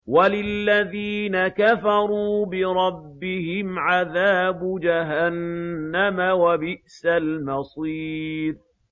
وَلِلَّذِينَ كَفَرُوا بِرَبِّهِمْ عَذَابُ جَهَنَّمَ ۖ وَبِئْسَ الْمَصِيرُ